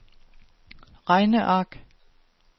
regneark